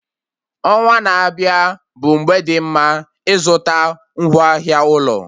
Ọnwa na-abịa bụ mgbe dị mma ịzụta ngwaahịa ụlọ